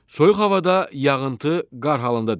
Soyuq havada yağıntı qar halında düşür.